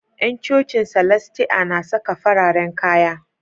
Yan cocin salastia na saka fararen kaya